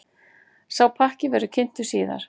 Sá pakki verði kynntur síðar.